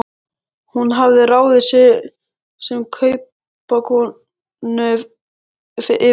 Hún hafði ráðið sig sem kaupakonu yfir sumarið.